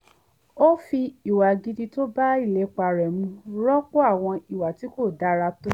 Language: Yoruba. ó fi ìwà gidi tó bá ìlépa rẹ̀ mu rọ́pò àwọn iwà ti ko dára tó